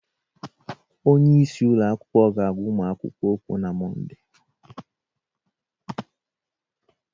Onye isi ụlọ akwụkwọ ga agwa ụmụ akwụkwọ okwu na Monde